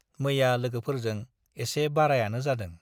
मैया लोगोफोरजों एसे बारायानो जादों ।